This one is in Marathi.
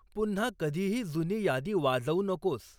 पुन्हा कधीही जुनी यादी वाजवू नकोस